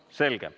Selge.